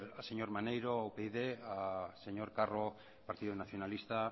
al señor maneiro upyd al señor carro partido nacionalista